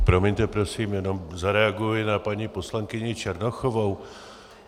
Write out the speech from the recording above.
Promiňte prosím, jenom zareaguji na paní poslankyni Černochovou.